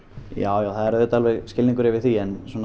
já það er auðvitað skilningur yfir því